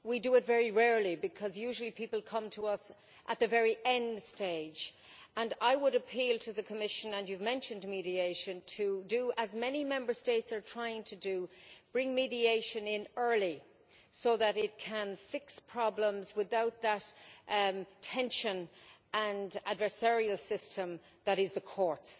We do it very rarely, because usually people come to us at the very end stage, and I would appeal to the Commission and you have mentioned mediation to do as many Member States are trying to do bring mediation in early, so that it can fix problems without that tension and adversarial system that is the courts.